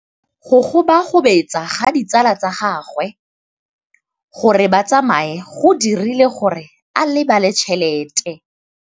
Go gobagobetsa ga ditsala tsa gagwe, gore ba tsamaye go dirile gore a lebale tšhelete.